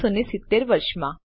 1970 વર્ષ માં